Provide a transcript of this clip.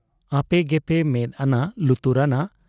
ᱟᱯᱮ ᱜᱮᱯᱮ ᱢᱮᱫ ᱟᱱᱟ ᱞᱩᱛᱩᱨᱟᱱᱟ ᱾